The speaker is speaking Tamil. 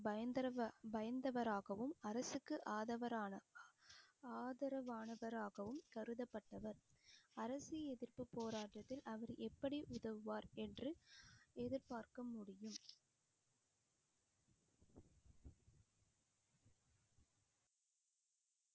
பயங்கரவ~ பயந்தவராகவும் அரசுக்கு ஆதவரான ஆதரவானவராகவும் கருதப்பட்டவர் அரசு எதிர்ப்புப் போராட்டத்தில் அவர் எப்படி உதவுவார் என்று எதிர்பார்க்க முடியும்.